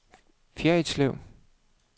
Fjerritslev